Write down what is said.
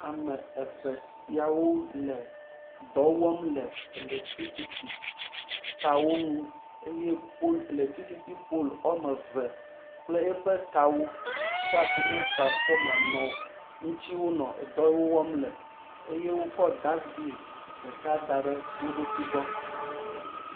Ame eve siawo le dɔ wɔm le elektrisity kawo ŋu eye polu elektrisity polu woame eve kple eƒe kawo da asi ne transfɔma ye ŋuti ne wole dɔ wɔm le eye wokɔ dasbin ɖeka da ɖe wo ɖokui gbɔ.